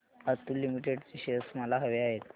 Atul limited चे shares मला हवे आहेत